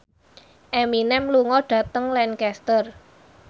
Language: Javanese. Eminem lunga dhateng Lancaster